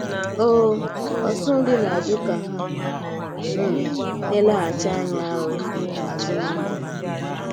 um Ọ́tùtù̀ ndí na-ajụ̀ ka hà um na-èlèghàchí ànyà um azụ̀ ná ndụ̀ ha.